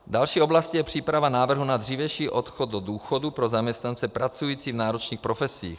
Další oblastí je příprava návrhu na dřívější odchod do důchodu pro zaměstnance pracující v náročných profesích.